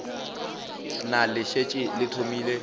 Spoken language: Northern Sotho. na le šetše le thomile